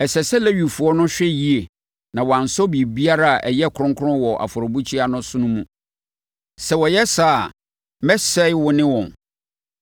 Ɛsɛ sɛ Lewifoɔ no hwɛ yie na wɔansɔ biribiara a ɛyɛ kronkron wɔ afɔrebukyia no so mu. Sɛ wɔyɛ saa a, mɛsɛe wo ne wɔn.